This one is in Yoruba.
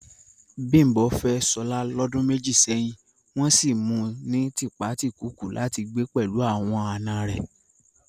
Bimbo fẹ́ Shola lọ́dún méjì sẹ́yìn, wọ́n sì mu ní tipátìkúùkù láti gbé pẹ̀lú àwọn àna rẹ̀